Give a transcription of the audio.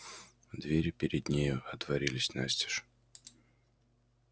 двери перед нею отворились настежь